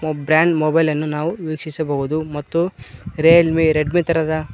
brand mobile ಅನ್ನು ನಾವು ವೀಕ್ಷಿಸಬಹುದು ಮತ್ತು ರಿಯಲ್ ಮಿ ರೆಡ್ ಮಿ ತರದ--